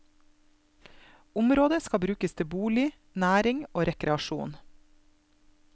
Området skal brukes til bolig, næring og rekreasjon.